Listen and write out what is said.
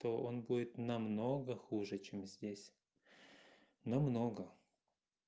то он будет намного хуже чем здесь на много